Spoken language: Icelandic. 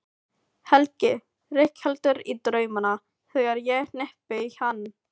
Helgi rígheldur í draumana þegar ég hnippi í hann.